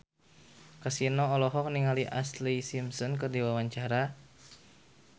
Kasino olohok ningali Ashlee Simpson keur diwawancara